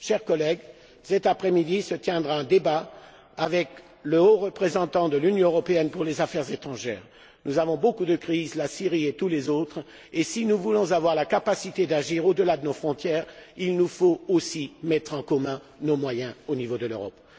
Chers collègues, cet après midi se tiendra un débat avec la Haute représentante de l'Union européenne pour les affaires étrangères et la politique de sécurité. Nous connaissons beaucoup de crises, celle de la Syrie ainsi que les autres, mais si nous voulons avoir la capacité d'agir au delà de nos frontières, il nous faut aussi mettre en commun nos moyens au niveau de l'Europe.